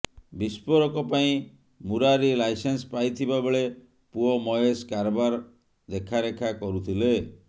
ବିସ୍ଫୋରକ ପାଇଁ ମୁରାରୀ ଲାଇସେନ୍ସ ପାଇଥିବା ବେଳେ ପୁଅ ମହେଶ କାରବାର ଦେଖାରେଖା କରୁଥିଲେ